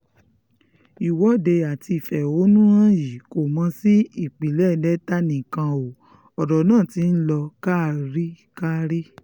ìwọ́de àti ìfẹ̀hónúhàn yìí kò mọ sí ìpínlẹ̀ delta nìkan o ọ̀rọ̀ náà ti ń lọ kárí kárí